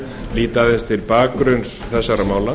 líta upp til bakgrunns þessara mála